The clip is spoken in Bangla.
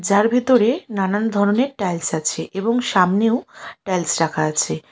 যার ভিতরে নানান ধরনের টাইলস আছে এবং সামনেও টাইলস রাখা আছে।